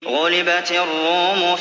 غُلِبَتِ الرُّومُ